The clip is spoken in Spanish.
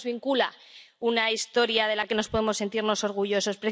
No nos vincula una historia de la que nos podemos sentir orgullosos.